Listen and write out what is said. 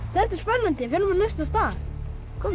þetta er spennandi förum á næsta stað komum